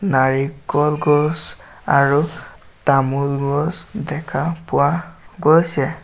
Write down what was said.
নাৰিকল গছ আৰু তামোল গছ দেখা পোৱা গৈছে।